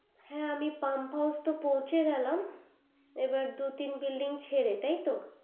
হ্যা আমি pump house পৌঁছে গেলাম এবার দু তিন building ছেড়ে তাই তো